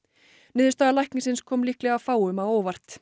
niðurstaða læknisins kom líklega fáum á óvart